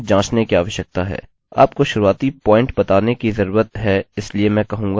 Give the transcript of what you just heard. आपको शुरुआती पॉइंट बताने की जरूरत है इसलिए मैं कहूँगा 1